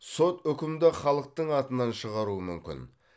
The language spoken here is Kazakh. сот үкімді халықтың атынан шығару мүмкін